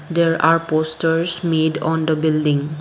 there are posters made on the building.